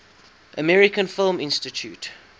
american film institute